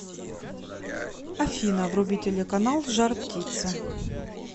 афина вруби телеканал жар птица